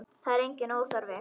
Það er enginn óþarfi.